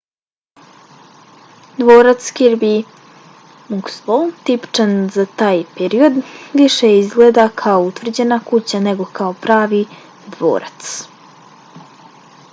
dvorac kirby muxloe tipičan za taj period više izgleda kao utvrđena kuća nego kao pravi dvorac